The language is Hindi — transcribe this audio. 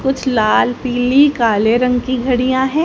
कुछ लाल पीली काले रंग की घड़ियां है।